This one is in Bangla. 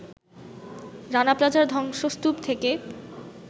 রানা প্লাজার ধ্বংসস্তূপ থেকে